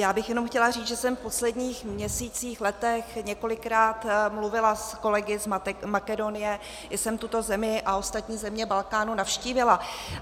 Já bych jenom chtěla říct, že jsem v posledních měsících, letech několikrát mluvila s kolegy z Makedonie, i jsem tuto zemi a ostatní země Balkánu navštívila.